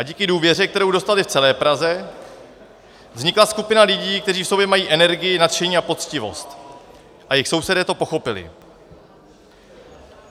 A díky důvěře, kterou dostali v celé Praze, vznikla skupina lidí, kteří v sobě mají energii, nadšení a poctivost, a jejich sousedé to pochopili.